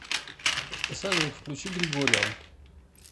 салют включи грегориан